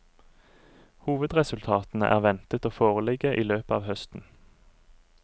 Hovedresultatene er ventet å foreligge i løpet av høsten.